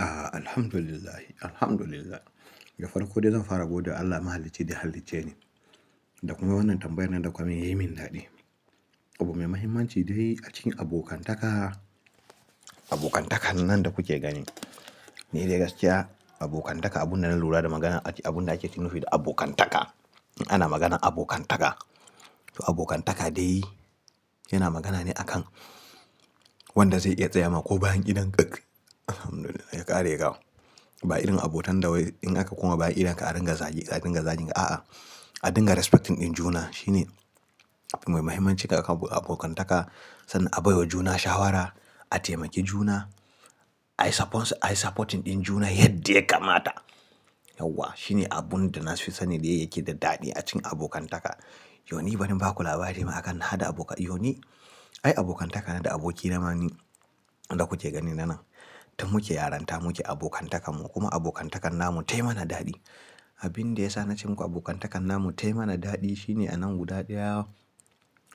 A'a, Alhamdulillah, Alhamdulillah. Gafara kudai zan fara gode. Allah mahalaci da ya halice ni. Da kuma wannan tambayar nan da kuka yi min yayi min daɗi. Abu mai mahimmanci dai a cikin abokantaka, abokantakan nan da kuke gani. Ni dai gaskiya abokantaka abun da na lura da magana a ciki, abun da ake nufi da abokantaka. Ana maganan abokantaka. To abokantaka dai yana magana ne a kan wanda zai iya tsayama ko bayan idon ƙaƙ. Alhamdulillah ya ƙare kau. Ba irin abotan da wai in aka koma baya idon ka a ringa zagi, a ringa zagin. A'a, a dinga respecting ɗin juna shine abu mai mahimmanci a abokantaka. San a baiwa juna shawara, a taimaki juna, I supporting ɗin juna yadda ya kamata. Yauwa, shine abun da na fi sanin dai yake da daɗi a cikin abokantaka. Yau ni bari in baku labari ma a kan hada aboka-- yau ni, ai abokantaka na da aboki na ma ni, da kuke gani na nan. Tun muke yaranta, muke abokantakan mu. Kuma abokantakan namu tayi mana daɗi. Abin da ya sa nace muku abokantakan namu tayi mana daɗi shine a nan guda ɗaya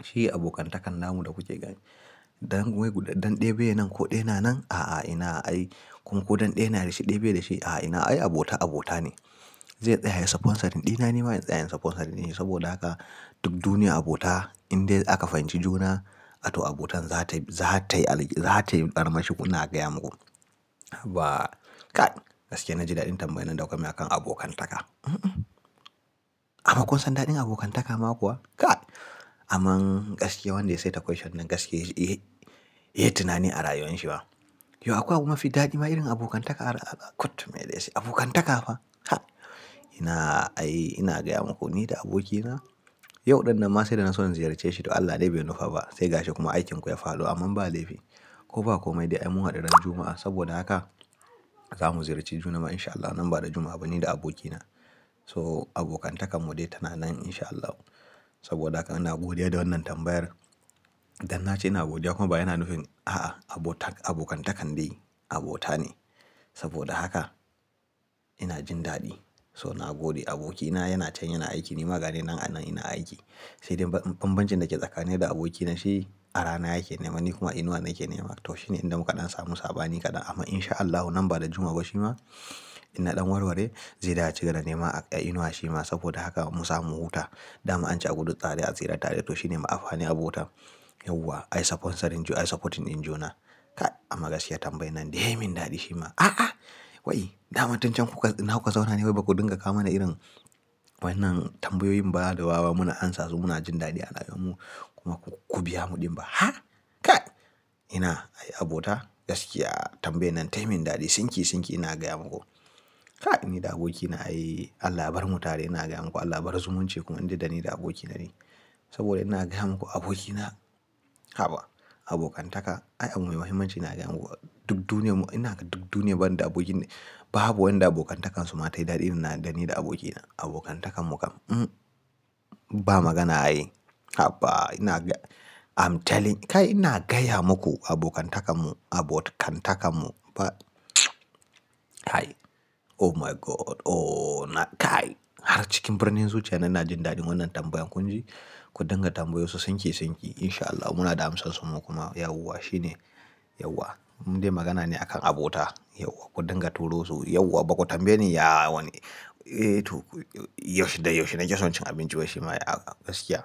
shi abokantakan namu da kuke gani. Dan wai dan ɗai bai nan ko ɗai na nan? A'a, ina ai. Kuma ko dan ɗai na da shi ɗai bai da shi? A'a, ina ai abota abota ne. Zai tsaya supporting ɗina, nima zan tsaya supporting shi. Saboda haka duk duniya abota in dai aka fahimci juna, to abota zata yi, zata yi, zata yi armashi ina gaya muku. Haba kai, gaskiya na ji daɗin tambayan nan da kuka yi a kan abokantaka. A ma kusan daɗin abokantaka ma kuwa? Kai. Amma gaskiya wanda ya saita question nan gaskiya, eh, eh ya tunani a rayuwar shi ma. Yau akwai abu mafi daɗi ma irin abokantaka a kut maileci, abokantaka fa. Ha! Ina ai, ina gaya muku ni da aboki na, yau ɗin nan ma sai da naso in ziyarce shi to Allah dai bai nufa ba. Sai gashi kuma aikinku ya faru amma ba laifi. Ko ba komai dai ai mu haɗu ran Juma'a. Saboda haka za mu ziyarci juna ma in sha Allahu nan ba da jimawa ba ni da aboki na. So abokantakan mu dai tana nan in sha Allahu. Saboda haka ina godiya da wannan tambayar. Dan na ce ina godiya kuma baya na nufin a'a, abota, abokantaka dai abota ne. Saboda haka ina jin daɗi. So nagode abokina yana can yana aiki, nima ganinan anan ina aiki. Sai dai bambancin da ke tsakanin ni da aboki na shi a rana yake nema ni kuma a inuwa nake nema. To shi ne inda muka ɗan samu sabani kaɗan amma in sha Allahu nan ba da jimawa ba shi ma ina ɗan warware. Zai da acigaba da nema a inuwa shi ma saboda haka mu zamu huta. Da ma an ce a gudu tsare a tsira tare. To shi ne amfani abota. Yauwa I supporting, I supporting ɗin juna. Kai amma gaskiya tambayar nan dai yayi min daɗi shi ma. A'a, wai dama tun cen kuka, ina kuka zaune wai baku dinga kawo mana irin wannan tambayoyin ba da wawa muna amsa su muna jin daɗi a rayuwarmu kuma ku biya mu ɗimba. Ha! Kai. Ina ai abota gaskiya tambayar nan tayi min daɗi. Sinki sinki ina gaya muku. Kai ni da aboki na ai allah barmu tare ina gaya muku allah bar zumunci kuma indai da ni da aboki na ne. Saboda ina gaya muku aboki na, haba abokantaka, ai abu mai mahimmanci ne ina gaya muku duk duniya mu, ina ga duk duniya bana da aboki ne. Babu wanda abokantakansu ma tayi daɗi irin na da ni da aboki na. Abokantakan mu kam ba magana ai. Haba ina ga-- I'm telling kai ina gaya muku abokantakan mu, abotkantakan mu ba hai oh my God oh na kai. Har cikin birnin zuciya na, ina jin daɗin wannan tambayan kun ji. Kun dinga tambayo su sinki sinki in sha Allahu muna da amsansu mu kuma yauwa shi ne yauwa. Mu dai magana ne a kan abota yauwa. Kun dinga turo su yauwa baku tambaye ni ya wane eh to yaushe da yaushe nake son cin abinci wai shi ma a gaskiya.